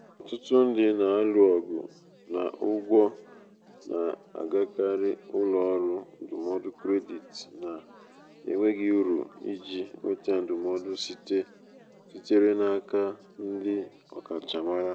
um ọtụtụ ndị um na-alụ ọgụ na ụgwọ na-agakarị ụlọ ọrụ ndụmọdụ kredit na-enweghị uru iji um nweta ndụmọdụ sitere n'aka ndị ọkachamara.